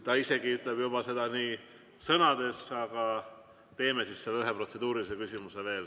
Ta isegi ütleb seda sõnades, aga teeme veel selle ühe protseduurilise küsimuse.